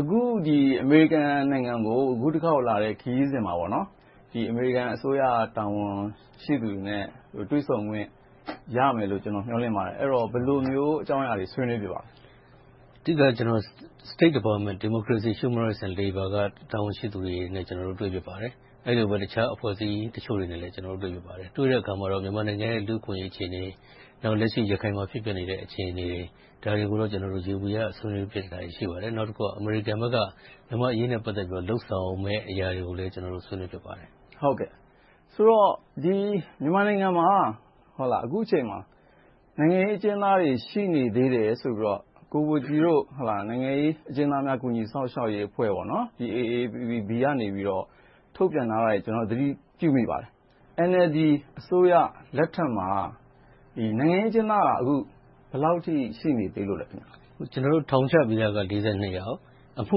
အခု အမေရိကန်နိုင်ငံကို အခုတခေါက်လာတဲ့ ခရီးစဉ်မှာ အမေရိကန်အစိုးရ တာဝန်ရှိသူတွေနဲ့ တွေ့ဆုံခွင့်ရမယ်လို့ ကျနော် မျှော်လင့်ပါတယ်။ ဘယ်လိုမျိုးအကြောင်းအရာတွေ ဆွေးနွေးဖြစ်မလဲ။ အဓိက State Department – Democracy, Human Rights and Labor က တာဝန်ရှိသူတွေနဲ့ ကျနော်တို့ တွေ့ဖြစ်ပါတယ်။ အဲဒီလိုပဲ တခြားအဖွဲ့အစည်းတချို့နဲ့လည်း တွေ့ဖြစ်ပါတယ်။ တွေ့တဲ့အခါမှာတော့ မြန်မာနိုင်ငံရဲ့ လူ့အခွင့်အရေး အခြေအနေ၊ လက်ရှိ ရခိုင်မှာ ဖြစ်ပျက်နေတဲ့ အခြေအနေတွေကိုတော့ ကျနော်တို့ ယေဘုယျ ဆွေးနွေးဖြစ်တာတွေ ရှိပါတယ်။ နောက်တခုက အမေရိကန်ဘက်က မြန်မာ့အရေးနဲ့ ပတ်သက်ပြီးတော့ လုပ်ဆောင်မယ့်အရာတွေကိုလည်း ဆွေးနွေးဖြစ်ပါတယ်။ ဆိုတော့ မြန်မာနိုင်ငံမှာ အခုအချိန်မှာ နိုင်ငံရေးအကျဉ်းသားတွေ ရှိနေသေးတယ်ဆိုပြီးတော့ ကိုဘိုကြည်တို့ နိုင်ငံရေးအကျဉ်းသားများ ကူညီစောင့်ရှောက်ရေးအဖွဲ့ ကနေ ထုတ်ပြန်ထားတွေကို ကျနော်တို့ သတိပြုမိပါတယ်။ NLD အစိုးရလက်ထက်မှာ နိုင်ငံရေးအကျဉ်းသားက ဘယ်လောက်အထိ ရှိနေသေးလို့လဲ။ ယောက်၊ အမှု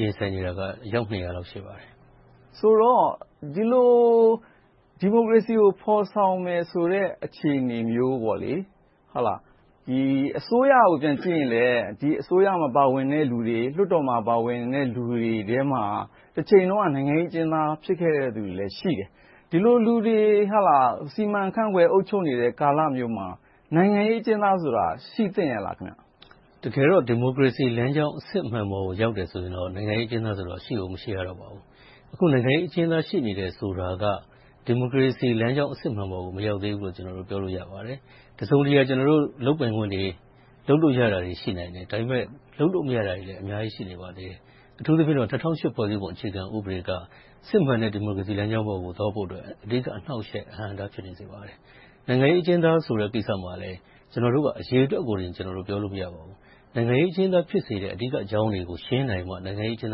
ရင်ဆိုင်နေရတာက အယောက် လောက် ရှိပါတယ်။ ဆိုတော့ ဒီမိုကရေစီကို ဖော်ဆောင်မယ်ဆိုတဲ့ အခြေအနေမျိုး၊ အစိုးရကို ပြန်ကြည့်မယ်ဆိုရင်လဲ အစိုးရမှာ ပါဝင်တဲ့လူတွေ၊ လွှတ်တော်မှာ ပါဝင်တဲ့လူတွေထဲမှာ တချိန်တုန်းက နိုင်ငံရေးအကျဉ်းသား ဖြစ်ခဲ့သူတွေလည်း ရှိတယ်။ ဒီလိုလူတွေ စီမံခန့်ခွဲ အုပ်ချုပ်နေတဲ့ ကာလမျိုးမှာ နိုင်ငံရေးအကျဉ်းသားဆိုတာ ရှိသင့်ရဲ့လား။ တကယ်တော့ ဒီမိုကရေစီလမ်းကြောင်း အစစ်အမှန်ပေါ်ကို ရောက်တယ်ဆိုရင်တော့ နိုင်ငံရေးအကျဉ်းသားဆိုတာ ရှိကိုမရှိရတော့ပါဘူး။ အခု နိုင်ငံရေးအကျဉ်းသား ရှိနေတယ်ဆိုတာက ဒီမိုကရေစီလမ်းကြောင်း အစစ်အမှန်ပေါ်ကို မရောက်သေးဘူးလို့ ပြောလို့ရပါတယ်။ တစုံတရာ လုပ်ပိုင်ခွင့်တွေ၊ လုပ်လို့ရနိုင်တာတွေ ရှိနိုင်တယ်။ ဒါပေမဲ့ လုပ်လို့မရနိုင်တာတွေလည်း အများကြီး ရှိပါတယ်။ အထူးသဖြင့်တော့ ၂၀၀၈ ဖွဲ့စည်းပုံအခြေခံဥပဒေ က စစ်မှန်တဲ့ ဒီမိုကရေစီလမ်းကြောင်းပေါ်ကို သွားဖို့အတွက် အဓိက အနှောင့်အယှက်၊ အဟန့်အတား ဖြစ်နေပါတယ်။ နိုင်ငံရေး အကျဉ်းသားဆိုတဲ့ ကိစ္စမှာလဲ ကျနေ်ာတို့က အရေအတွက်ကိုသာ ပြောလို့မရပါဘူး။ နိုင်ငံရေးအကျဉ်းသား ဖြစ်စေတဲ့ အဓိကအကြောင်းတွေကို ဖြေရှင်းနိုင်မှ နိုင်ငံရေးအကျဉ်း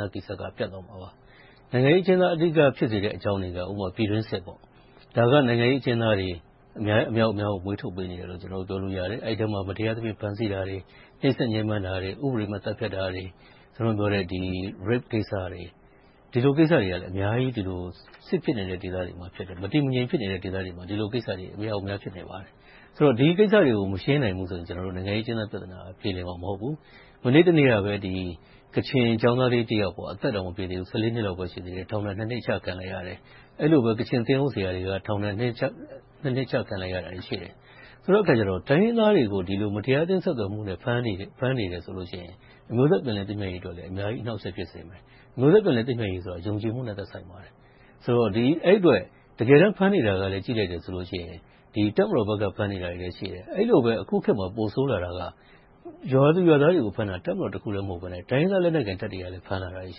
သားကိစ္စက ပြတ်သွားမှာပါ။ နိုင်ငံရေးအကျဉ်းသား ဖြစ်စေတဲ့ အဓိကအကြောင်းတွေက ပြည်တွင်းစစ် - ဒါက နိုင်ငံရေးအကျဉ်းသားတွေ အမြောက်အမြားကို မွေးထုတ်ပေးနေတယ်လို့ ပြောလို့ရတယ်။ အဲဒီမှာ မတရားသဖြင့် ဖမ်းဆီးတာတွေ၊ နှိပ်စက်ညဉ်းပမ်းတာတွေ၊ ဥပဒေမဲ့ သတ်ဖြတ်တာတွေ၊ Rape - အဓမ္မပြုကျင့်မှု - ဒီလိုကိစ္စတွေကလည်း အများကြီး စစ်ဖြစ်နေတဲ့ ဒေသတွေမှာ ဖြစ်တယ်။ မတည်မငြိမ် ဖြစ်နေတဲ့ ဒေသတွေမှာ ဒီလိုကိစ္စတွေ အမြောက်အမြား ဖြစ်နေပါတယ်။ ဆိုတော့ ဒီကိစ္စတွေကို မရှင်းနိုင်ဘူးဆိုရင်တော့ နိုင်ငံရေးအကျဉ်းသား ပြဿနာက ပြေလည်မှာ မဟုတ်ဘူး။ မနေ့တနေ့ကပဲ ကချင်ကျောင်းသားလေးတယောက် အသက်တောင် မပြည့်သေးဘူး - နှစ်လောက်ပဲ ရှိသေးတယ်။ ထောင်ဒဏ် နှစ် ချခံလိုက်ရတယ်။ အဲဒီလိုပဲ ကချင်သင်းအုပ်ဆရာတွေ ထောင်ဒဏ် နှစ် ချခံလိုက်ရတာတွေ ရှိတယ်။ ဆိုတဲ့အခါကြတော့ တိုင်းရင်းသားတွေကို ဒီလို မတရားအသင်းတွေနဲ့ ဆက်သွယ်မှုဆိုပြီး ဖမ်းနေတယ်ဆိုလို့ရှိရင် အမျိုးသားပြန်လည်သင့်မြတ်ရေးအတွက်လည်း အများကြီး အနှောင့်အယှက် ဖြစ်စေတယ်။ အမျိုးသား ပြန်လည်သင့်မြတ်ရေးဆိုတာ ယုံကြည်မှုနဲ့ သက်ဆိုင်ပါတယ်။ အဲဒီအတွက် တကယ်တမ်း ဖမ်းနေတာကို ကြည့်လိုက်ရင် တပ်မတော်ဘက်ကလဲ ဖမ်းနေတာတွေလည်း ရှိတယ်။ အဲဒီလို အခုခေတ်မှာ ပိုဆိုးလာတာက ရွာသူရွာသားတွေကို ဖမ်းတာ၊ တပ်မတော်တခုတည်း မဟုတ်ဘဲနဲ့ တိုင်းရင်းသားလက်နက်ကိုင် တပ်တွေကလည်း ဖမ်းတာတွေလည်း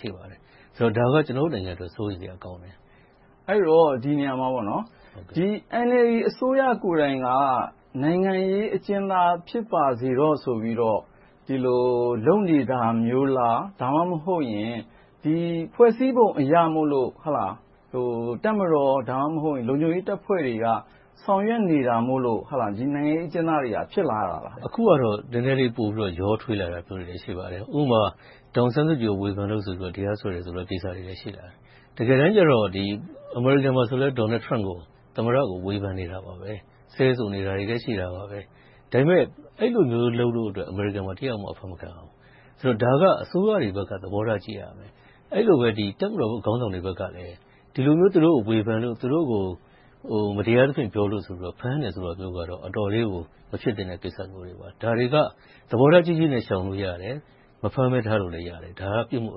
ရှိပါတယ်။ ဒါက ကျနော်တို့နိုင်ငံအတွက် စိုးရိမ်စရာ ကောင်းတယ်။ အဲဒီတော့ ဒီနေရာမှာ NLD အစိုးရကိုယ်တိုင်က နိုင်ငံရေးအကျဉ်းသား ဖြစ်ပါစေတော့ဆိုပြီးတော့ ဒီလို လုပ်နေတာမျိုးလား။ ဒါမှမဟုတ် ဖွဲ့စည်းပုံအရမို့လို့ တပ်မတော်၊ ဒါမှမဟုတ် လုံခြုံရေးတပ်ဖွဲ့တွေက ဆောင်ရွက်နေတာမို့လို့ ဒီနိုင်ငံရေးအကျဉ်းသားတွေ ဖြစ်လာတာလား။ အခုကတော့ နည်းနည်းလေး ရောထွေးလာတာ ရှိပါတယ်။ ဥပမာ ဒေါ်အောင်ဆန်းစုကြည်ကို ဝေဖန်လို့ဆိုပြီး တရားစွဲတယ်ဆိုတာတွေလည်း ရှိလာတယ်။ တကယ်တမ်းကြတော့ အမေရိကန်မှာဆိုလဲ Donald Trump ကို သမ္မတကို ဝေဖန်နေတယ်။ ဆဲဆိုနေတာတွေလည်း ရှိပါတယ်။ အဲဒီလိုမျိုးလုပ်လို့ အမေရိကန်မှာ တယောက်မှ အဖမ်းမခံရဘူး။ ဒါက အစိုးရတွေဘက်က သဘောထားကြီးရမယ်။ အဲဒီလိုပဲ တပ်မတော်ခေါင်းဆောင်တွေဘက်ကလည်း ဒီလိုမျိုး ဝေဖန်လို့၊ မတရားသဖြင့် ပြောလို့ဆိုပြီး ဖမ်းတယ်ဆိုတာမျိုးက အတော်လေးကို မဖြစ်သင့်တဲ့ကိစ္စမျိုးတွေပါ။ ဒါတွေက သဘောထားကြီးကြီးနဲ့ ရှောင်လို့ရတယ်။ မဖမ်းဘဲထားလို့ရတယ်။ ဒါက ပြစ်မှု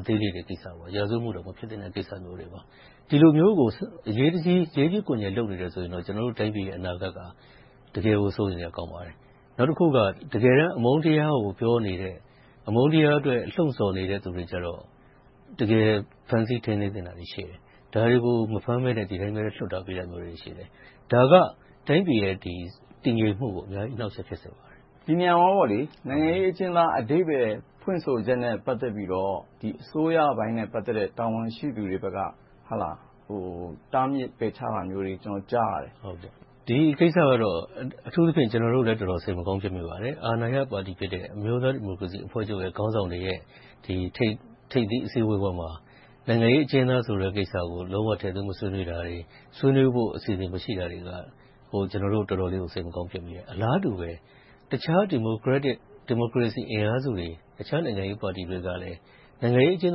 အသေးလေးတွေကိစ္စ။ ရာဇဝတ်မှုတောင် မဖြစ်သင့်တဲ့ကိစ္စမျိုးတွေပါ။ ဒီလိုမျိုးကို ရေးကြီးခွင်ကျယ် လုပ်နေတယ်ဆိုရင်တော့ ကျနော်တို့တိုင်းပြည်ရဲ့ အနာဂတ်က တကယ်ကို စိုးရိမ်စရာကောင်းပါတယ်။ နောက်တခုက တကယ်တမ်း အမုန်းတရားကို ပြောနေတဲ့၊ အမုန်းတရားအတွက် လှုံဆော်နေတဲ့သူတွေကြတော့ တကယ်ဖမ်းဆီးထိန်းသိမ်းသင့်တာရှိတယ်။ ဒါတွေကို မဖမ်းဘဲနဲ့ ဒီအတိုင်း လွှတ်ထားပေးတာမျိုးတွေရှိတယ်။ ဒါက တိုင်းပြည်ရဲ့ တည်ငြိမ်မှုကို အများကြီး အနှောင့်အယှက် ဖြစ်စေပါတယ်။ ဒီနေရာမှာ နိုင်ငံရေးအကျဉ်းသား အဓိပ္ပါယ်ဖွင့်ဆိုချက်နဲ့ ပတ်သက်ပြီးတော့ အစိုးရပိုင်းနဲ့ ပတ်သက်တဲ့ တာဝန်ရှိသူတွေဘက်က တားမြစ်ပယ်ချတာမျိုးတွေ ကြားသိရတယ်။ ဒီကိစ္စကတော့ အထူးသဖြင့် ကျနော်တို့လည်း စိတ်မကောင်းဖြစ်မိပါတယ်။ အာဏာရပါတီဖြစ်တဲ့ အမျိုးသားဒီမိုကရေစီအဖွဲ့ချုပ်ရဲ့ ခေါင်းဆောင်တွေရဲ့ ထိပ်သီးအစည်းအဝေးပွဲမှာ နိုင်ငံရေးအကျဉ်းသားဆိုတဲ့ ကိစ္စကို လုံးဝထည့်သွင်းမဆွေးနွေးတာတွေ။ ဆွေးနွေးဖို့ အစီအစဉ်မရှိတာတွေက ကျနော်တို့ တော်တော်လေးကို စိတ်မကောင်းဖြစ်မိတယ်။ အလားတူပဲ တခြားဒီမိုကရက်တစ် ဒီမိုကရေစီအင်အားစုတွေ၊ တခြားနိုင်ငံရေးပါတီတွေကလည်း နိုင်ငံရေးအကျဉ်း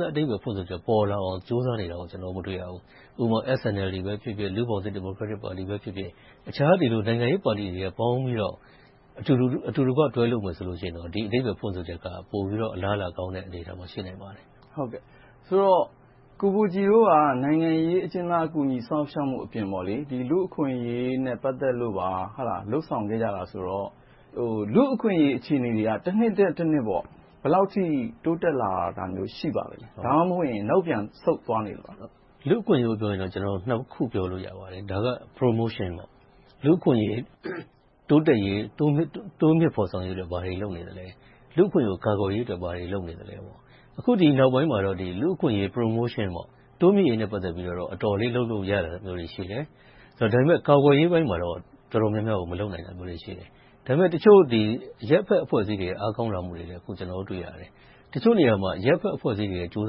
သား အဓိပ္ပါယ်ဖွင့်ဆိုချက် ပေါ်လာအောင် ကြိုးစားနေတာကို ကျနော်တို့ မတွေ့ရဘူး။ ဥပမာ SNLD ပဲဖြစ်ဖြစ်၊ လူ့ဘောင်သစ်ဒီမိုကရက်တစ်ပါတီပဲဖြစ်ဖြစ်၊ အခြားနိုင်ငံရေးပါတီတွေကပေါင်းပြီးတော့ အတူတကွ တွဲလုပ်မယ်ဆိုရင်တော့ ဒီအဓိပ္ပါယ်ဖွင့်ဆိုချက်က ပိုပြီးတော့ အလားအလာကောင်းတဲ့ အနေအထားမှာ ရှိနိုင်တယ်။ ဆိုတော့ ကိုဘိုကြည်တို့က နိုင်ငံရေးအကျဉ်းသား ကူညီစောင့်ရှောက်မှုအပြင် ဒီလူ့အခွင့်အရေးနဲ့ ပတ်သက်လို့ပါ လုပ်ဆောင်ခဲ့ကြတာဆိုတော့ လူ့အခွင့်အရေး အခြေအနေတွေက တနှစ်ထက်တနှစ် ဘယ်လောက်အထိ တိုးတက်လာတာမျိုးတွေ ရှိပါသလား။ ဒါမှမဟုတ် နောက်ပြန်ဆုတ်သွားနေသလား။ လူ့အခွင့်အရေးကို ပြောမယ်ဆိုရင် နှစ်ခုပြောလို့ရပါတယ်။ ဒါက Promotion လူ့အခွင့်အရေး တိုးတက်ရေး၊ တိုးမြှင့်ဖော်ဆောင်ရေးအတွက် ဘာတွေလုပ်နေလဲ။ လူ့အခွင့်အရေး ကာကွယ်ရေးအတွက် ဘာတွေလုပ်နေလဲ။ အခု ဒီနောက်ပိုင်းမှာတော့ လူ့အခွင့်အရေး တိုးမြှင့်ရေးနဲ့ ပတ်သက်ပြီးတော့ အတော်လေးလုပ်လို့ရတာတွေရှိတယ်။ ဒါပေမဲ့ ကာကွယ်ရေးပိုင်းမှာတော့ တော်တော်များများကို မလုပ်နိုင်တာတွေရှိတယ်။ ဒါပေမဲ့ တချို့အရပ်ဘက်အဖွဲ့အစည်းတွေ အားကောင်းလာမှုတွေလည်း ကျနော်တို့တွေ့ရတယ်။ တချို့နေရာတွေမှာ အရပ်ဘက်လူ့အဖွဲ့အစည်းတွေရဲ့ ကြိုး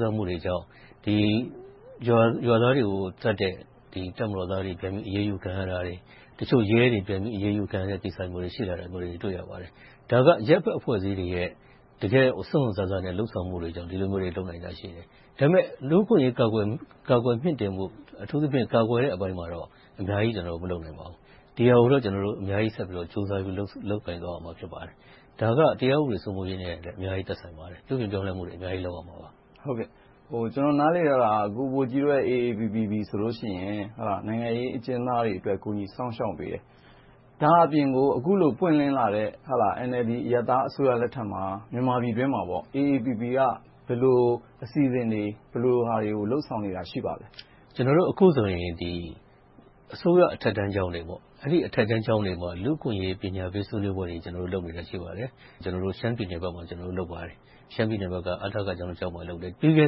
စားမှုတွေကြောင့် ရွာသားတွေကိုသတ်တဲ့ တပ်မတော်သားတွေ ပြန်ပြီးအရေးယူခံရတာတွေ။ တချို့ရဲတွေ ပြန်ပြီးအရေးယူခံရတဲ့ကိစ္စမျိုးတွေ ရှိတာတွေ တွေ့ရပါတယ်။ ဒါက အရပ်ဘက်အဖွဲ့အစည်းတွေရဲ့ စွန့်စွန့်စားစား လုပ်ဆောင်မှုတွေကြောင့် ဒီလိုမျိုးတွေကြောင့် ဒီလိုမျိုးလုပ်နိုင်တာတွေရှိတယ်။ ဒါပေမဲ့ လူ့အခွင့်အရေး ကာကွယ်မြှင့်တင်ဖို့ အထူးသဖြင့် ကာကွယ်တဲ့အပိုင်းမှာတော့ အများကြီး ကျနော်တို့ မလုပ်နိုင်ပါဘူး။ ဒီဟာကိုတော့ ကျနော်တို့ အများကြီးဆက်ပြီးတော့ လုပ်ကိုင်သွားရမှာ ဖြစ်ပါတယ်။ ဒါက တရားဥပဒေစိုးမိုးရေးနဲ့လည်း အများကြီးသက်ဆိုင်ပါတယ်။ ပြုပြင်ပြောင်းလဲမှုတွေ အများကြီးလုပ်ရမှာပါ။ ကျနော် နားလည်တာက ကိုဘိုကြည်တို့ AAPPB ဆိုရင် နိုင်ငံရေးအကျဉ်းသားတွေအတွက် ကူညီစောင့်ရှောက်ပေးတယ်။ ဒါ့အပြင် အခုလို ပွင့်လင်းလာတဲ့ NLD အရပ်သားအစိုးရလက်ထက်မှာ မြန်မာပြည်တွင်းမှာ AAPPB က ဘယ်လိုအစီအစဉ်တွေ၊ ဘယ်လိုဟာတွေကို လုပ်ဆောင်နေတာ ရှိပါသလဲ။ ကျနော်တို့ အခုဆိုရင် အစိုးရအထက်တန်းကျောင်းတွေမှာ လူ့အခွင့်အရေး ပညာပေးဆွေးနွေးပွဲမျိုးတွေ ကျနော်တို့ လုပ်နေတာ ရှိပါတယ်။ ကျနော်တို့ ရှမ်းပြည်နယ်ဘက်မှာ လုပ်ပါတယ်။ ရှမ်းပြည်နယ်ဘက်က အထကကျောင်းတကျောင်းမှာ လုပ်တယ်။ ပြီးခဲ့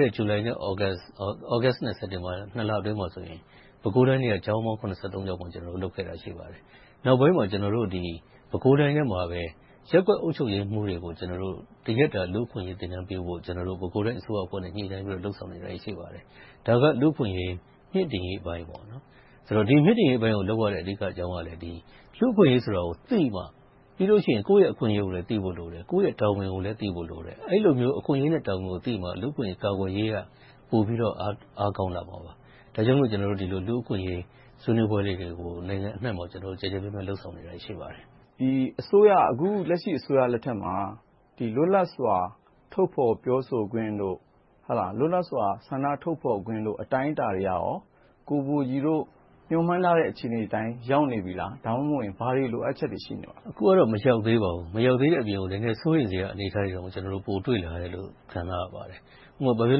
တဲ့ ဇူလိုင်-သြဂုတ်-စက်တင်ဘာလအတွင်းမှာဆိုရင် ပဲခူးတိုင်းအတွင်းက ကျောင်းပေါင်း ကျောင်းမှာ လုပ်ခဲ့တာရှိပါတယ်။ နောက်ပိုင်းမှာ ပဲခူးတိုင်းအတွင်းမှာပဲ ရပ်ကွက်အုပ်ချုပ်ရေးမှုးတွေကို ကျနော်တို့ တရက်တာ လူ့အခွင့်အရေး သင်တန်းပေးဖို့ ပဲခူးတိုင်းအစိုးရနဲ့ ညှိနှိုင်းဆွေးနွေးထားတာ ရှိပါတယ်။ ဒါက လူ့အခွင့်အရေးမြှင့်တင်ရေးအပိုင်း။ ဒီမြှင့်တင်ရေးအပိုင်းကို လုပ်ရတဲ့ အဓိကအကြောင်းက လူ့အခွင့်အရေးဆိုတာကိုသိမှ ပြီးတော့ ကိုယ့်ရဲ့အခွင့်အရေးကိုလည်း သိဖို့လိုတယ်။ ကိုယ့်ရဲ့တာဝန်ကိုလည်း သိဖို့လိုတယ်။ အဲဒီလိုမျိုး အခွင့်အရေးနဲ့ တာဝန်ကိုသိမှ လူ့အခွင့်အရေးကာကွယ်ရေးက ပိုပြီးတော့ အားကောင်းလာမှာပါ။ ဒါကြောင့်မို့ လူ့အခွင့်အရေးဆွေးနွေးပွဲတွေကို နိုင်ငံအနံှမှာ ကျယ်ကျယ်ပြန့်ပြန့် လုပ်ဆောင်နေတာတွေ ရှိပါတယ်။ အခုလက်ရှိ အစိုးရလက်ထက်မှာ လွတ်လပ်စွာ ထုတ်ဖော်ပြောဆိုခွင့်၊ လွတ်လပ်စွာ ဆန္ဒထုတ်ဖော်ခွင့် အတိုင်းအတာတွေကရော ကိုဘိုကြည်တို့ မျှော်မှန်းထားတဲ့ အခြေအနေအတိုင်း ရောက်နေပြီလား။ ဒါမှမဟုတ် ဘာတွေ လိုအပ်ချက်တွေ ရှိနေပါလဲ။ အခုကတော့ မရောက်သေးပါဘူး။ မရောက်သေးတဲ့အပြင် နည်းနည်းစိုးရိမ်စရာ အနေအထားတွေတောင် ပိုတွေ့လာရတယ်လို့ ခံစားရပါတယ်။ ဥပမာ ရန်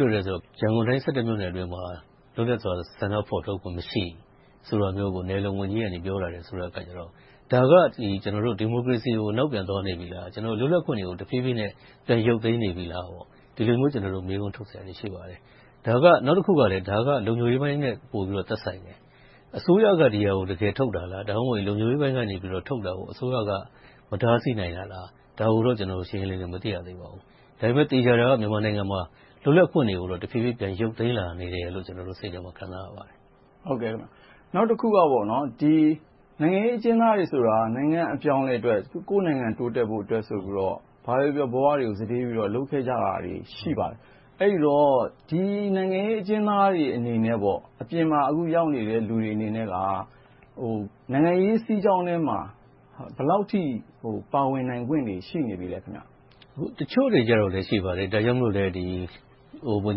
ကုန်တိုင်း မြို့နယ်အတွင်းမှာ လွတ်လပ်စွာ ဆန္ဒထုတ်ဖော်ခွင့် မရှိဘူးဆိုတာကို နယ်လုံဝန်ကြီးက ပြောလာတယ်ဆိုတော့ ဒါက ဒီမိုကရေစီကို နောက်ပြန်သွားနေပြီလား။ လွတ်လပ်ခွင့်တွေကို တဖြည်းဖြည်းနဲ့ ပြန်ရုတ်သိမ်းနေပြီလား။ ဒီလိုမျိုး ကျနော်တို့ မေးခွန်းထုတ်စရာတွေ ရှိပါတယ်။ ဒါက နောက်တခုက လုံခြုံရေးပိုင်းနဲ့ သက်ဆိုင်တယ်။ အစိုးရက ဒါကို တကယ်ထုတ်တာလား။ ဒါမှမဟုတ် လုံခြုံရေးပိုင်းက ထုတ်တာကို အစိုးရက မတားဆီးနိုင်တာလား။ ဒါကိုတော့ ကျနော်တို့ ရှင်းရှင်းလင်းလင်း မသိရသေးပါဘူး။ ဒါပေမဲ့ သေချာတာကတော့ မြန်မာနိုင်ငံမှာ လွတ်လပ်ခွင့်တွေကိုတော့ တဖြည်းဖြည်း ပြန်ရုတ်သိမ်းလာတယ်လို့ ကျနော် စိတ်ထဲမှာ ခံစားလာရပါတယ်။ နောက်တခုက နိုင်ငံရေးအကျဉ်းသမားတွေဆိုတာ နိုင်ငံ့အပြောင်းအလဲအတွက် ကိုယ့်နိုင်ငံတိုးတက်ဖို့ဆိုပြီးတော့ ဘာပဲပြောပြော ဘဝတွေကို စတေးပြီးတော့ လုပ်ခဲ့ကြတာတွေ ရှိပါတယ်။ အဲဒီတော့ ဒီနိုင်ငံရေးအကျဉ်းသားတွေအနေနဲ့ အပြင်မှာ အခုရောက်နေတဲ့ လူတွေအနေနဲ့က နိုင်ငံရေးစီးကြောင်းထဲမှာ ဘယ်လောက်အထိ ပါဝင်နိုင်ခွင့်တွေ ရှိနေပြီလဲ။ တချို့တွေတော့ ရှိပါတယ်။ ဒါကြောင့်မို့လဲ ဝန်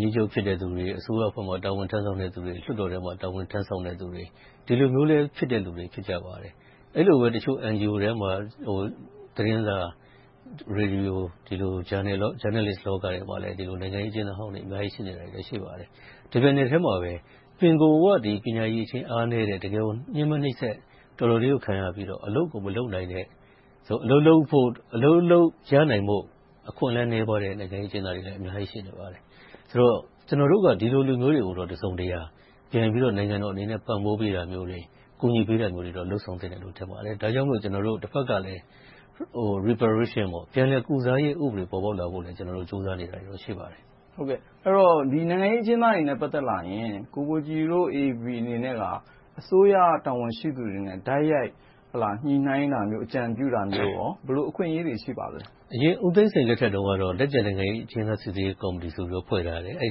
ကြီးချုပ်ဖြစ်တဲ့လူတွေ၊ အစိုးရအဖွဲ့မှာ တာဝန်ထမ်းဆောင်တဲ့လူတွေ၊ လွှတ်တော်ထဲမှာ တာဝန်ထမ်းဆောင်တဲ့လူတွေ - ဒီလိုမျိုးလည်း ဖြစ်တဲ့လူတွေ ဖြစ်ကြပါတယ်။ အဲဒီလိုပဲ တချို့ NGO ထဲမှာ သတင်းစာ၊ ရေဒီယို၊ ဂျာနယ်လစ်လောကထဲမှာ နိုင်ငံရေးအကျဉ်းသားဟောင်းတွေ အများကြီးရှိနေပါတယ်။ တပြိုင်နက်ထဲမှာပဲ ပင်ကိုယ်က ပညာအရည်အချင်း အားနည်းတဲ့၊ ညဉ်းပမ်းနှိပ်စက် တော်တော်လေးကို ခံရပြီးတော့ အလုပ်ကို မလုပ်နိုင်တဲ့၊ အလုပ်လုပ်ဖို့ ရနိုင်တဲ့ အခွင့်အလမ်းနည်းပါးတဲ့ နိုင်ငံရေးအကျဉ်းသားတွေလည်း အများကြီး ရှိနေပါတယ်။ ဆိုတော့ ကျနော်တို့က ဒီလိုလူမျိုးတွေကိုတော့ တစုံတရာ နိုင်ငံတော်အနေနဲ့ ပံ့ပိုးပေးတာမျိုးတွေ၊ ကူညီပေးတာမျိုးတွေတော့ လုပ်ဆောင်ပေးသင့်တယ်လို့ ထင်ပါတယ်။ ဒါကြောင့်မို့ ကျနော်တို့ တဘက်ကလည်း ပြန်လည်ကုစားရေးဥပဒေ ပေါ်ပေါက်လာဖို့ကို ကျနော်တို့ ကြိုးစားနေတာတွေ ရှိပါတယ်။ အဲဒီတော့ နိုင်ငံရေးအကျဉ်းသားတွေနဲ့ ပတ်သက်လာရင် ကိုဘိုကြည်တို့ AAPPB အနေနဲ့ အစိုးရ တာဝန်ရှိသူတွေနဲ့ တိုက်ရိုက်ညှိနှိုင်းတာမျိုး၊ အကြံပြုတာမျိုး - ဘယ်လို အခွင့်အရေးတွေ ရှိပါလဲ။ အရင် ဦးသိန်းစိန်လက်ထက်တုန်းကတော့ လက်ကျန်နိုင်ငံရေးအကျဉ်းသား စီစစ်ရေးကော်မတီဆိုပြီးတော့ ဖွဲ့ထားတယ်။ အဲဒီ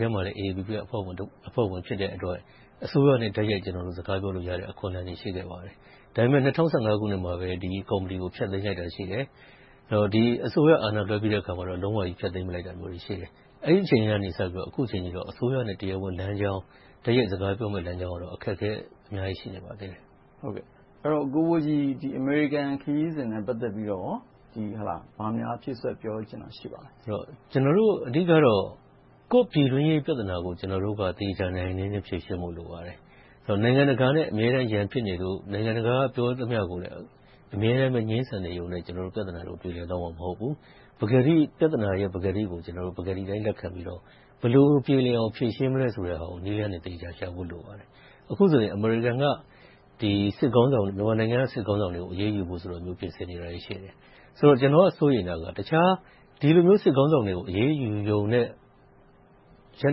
ထဲမှာ AAPPB က အဖွဲ့ဝင် ဖြစ်တဲ့အတွက် အစိုးရနဲ့ တိုက်ရိုက်စကားပြောလို့ရတဲ့ အခွင့်အလမ်းတွေ ရှိခဲ့တယ်။ ဒါပေမဲ့ ၂၀၁၅ ခုနှစ်မှာပဲ ဒီကော်မတီကို ဖျက်သိမ်းလိုက်တာရှိတယ်။ အစိုးရအာဏာလွှဲပြီးတဲ့နောက်မှာတော့ လုံးဝဖျက်သိမ်းလိုက်တာရှိတယ်။ အဲဒီအချိန်ကနေ အခုအချိန်အထိတော့ အစိုးရနဲ့ တရားဝင်လမ်းကြောင်း တိုက်ရိုက်စကားပြောမယ့်လမ်းကြောင်းကတော့ အခက်အခဲ အများကြီးရှိနေပါသေးတယ်။ အဲဒီတော့ ကိုဘိုကြည် အမေရိကန်ခရီးစဉ်နဲ့ ပတ်သက်လို့ ဘာများဖြည့်စွက်ပြောချင်တာ ရှိပါလဲ။ ကျနော်တို့ အဓိကတော့ ကိုယ့်ပြည်တွင်းရေး ပြဿနာကို ကျနော်တို့က သေသေချာချာ နိုင်နိုင်နင်းနင်း ဖြေရှင်းဖို့ လိုပါတယ်။ နိုင်ငံတကာနဲ့ အမြဲတမ်း ရန်ဖြစ်နေလို့ နိုင်ငံတကာက ပြောသမျှကိုလည်း အမြဲတမ်း ငြင်းဆန်နေတာနဲ့ ပြဿနာတွေ ပြေလည်သွားမှာ မဟုတ်ဘူး။ ပြဿနာတွေရဲ့ ပကတိကို ပကတိအတိုင်း လက်ခံပြီးတော့ ဘယ်လိုပြေလည်အောင် ဖြေရှင်းမလဲဆိုတဲ့ နည်းလမ်းတွေကို သေသေချာချာ ရှာဖို့လိုပါတယ်။ အခုဆိုရင် အမေရိကန်က မြန်မာနိုင်ငံက စစ်ခေါင်းဆောင်တွေကို အရေးယူဖို့ဆိုတာတွေ ပြင်ဆင်နေတာတွေ ရှိတယ်။ ကျနော်က စိုးရိမ်တာက ဒီလိုမျိုး စစ်ခေါင်းဆောင်တွေကို အရေးယူရုံနဲ့ ရပ်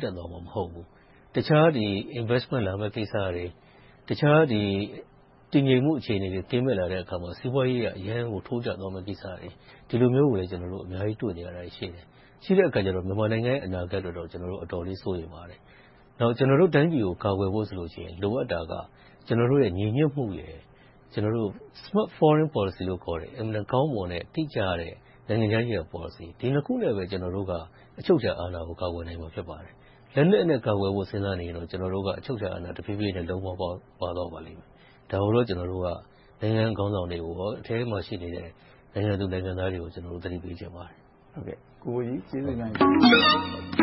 တန့်သွားမှာ မဟုတ်ဘူး။ တခြား Investment လာမယ့်ကိစ္စတွေ၊ တခြားတည်ငြိမ်မှု အခြေအနေတွေ ကင်းမဲ့လာတဲ့အခါမှာ စီးပွားရေးအရ အရမ်းကို ထိုးကျသွားမယ့်ကိစ္စတွေ ဒီလိုမျိုး ဖြစ်လာမှာကိုလည်း တွေ့နေရတာရှိတယ်။ ရှိတဲ့အခါကြတော့ မြန်မာနိုင်ငံရဲ့ အနာဂတ်အတွက်တော့ ကျနော်တို့ အတော်လေး စိုးရိမ်ပါတယ်။ နောက် ကျနော်တို့ တိုင်းပြည်ကို ကာကွယ်ဖို့ဆိုလို့ရှိရင် လိုအပ်တာက ကျနော်တို့ရဲ့ ညီညွှတ်မှုရယ် Smart Foreign Policy ခေါ်တဲ့ အင်မတန်ကောင်းမွန်၊ တိကျတဲ့ နိုင်ငံခြားရေးရာပေါ်လစီ - ဒီနှစ်ခုနဲ့ပဲ ကျနော်တို့က အချုပ်အချာအာဏာကို ကာကွယ်နိုင်မှာ ဖြစ်ပါတယ်။ လက်နက်နဲ့ ကာကွယ်ဖို့ စဉ်းစားနေရင်တော့ ကျနော်တို့က အချုပ်အချာအာဏာ တဖြည်းဖြည်းနဲ့ လုံးပါးပါးသွားပါလိမ့်မယ်။ ဒါကိုတော့ ကျနော်တို့က နိုင်ငံခေါင်းဆောင်တွေနဲ့ အထဲမှာရှိတဲ့ နိုင်ငံသူနိုင်ငံသားတွေကို သတိပေးချင်ပါတယ်။ ကျေးဇူးတင်ပါတယ်